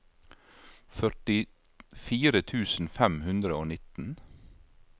førtifire tusen fem hundre og nitten